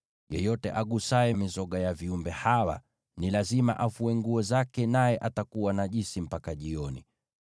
Yeyote atakayebeba mizoga ya viumbe hawa ni lazima afue nguo zake, naye atakuwa najisi mpaka jioni.